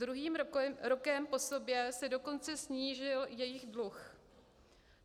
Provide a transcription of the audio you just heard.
Druhým rokem po sobě se dokonce snížil jejich dluh.